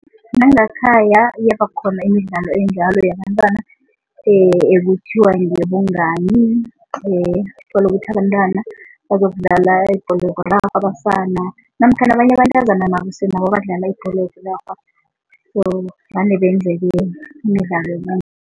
Nangakhaya iyabakhona imidlalo enjalo yabantwana ekuthiwa ngeyobungani. Uthole ukuthi abantwana bazokudlala abasana namkha nabanye abentazana nabo sinabo abadlala ibholo